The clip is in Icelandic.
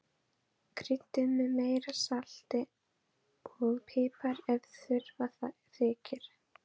Kryddið með meira salti og pipar ef þurfa þykir.